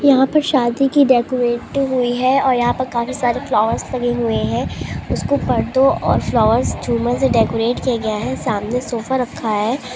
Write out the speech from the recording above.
यहां पर शादी की डेकोरेट हुई है और यहां पर काफी सारे फ्लावर्स लगे हुए है उसको पर्दो और फलावर्स झूमर से डेकोरेट किया गया है सामने सोफा रखा है।